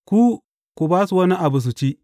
Ku ku ba su wani abu su ci.